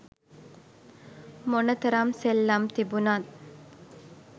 මොන තරම් සෙල්ලම් තිබුනත්